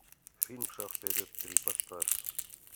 фильм шаг вперед три поставь